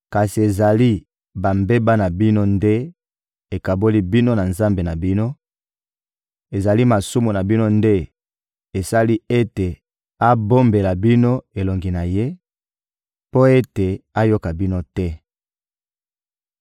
Kasi ezali bambeba na bino nde ekaboli bino na Nzambe na bino, ezali masumu na bino nde esali ete abombela bino elongi na Ye mpo ete ayoka bino te.